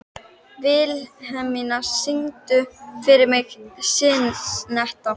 Vilhelmína, syngdu fyrir mig „Syneta“.